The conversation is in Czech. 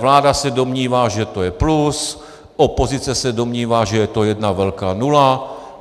Vláda se domnívá, že to je plus, opozice se domnívá, že je to jedna velká nula.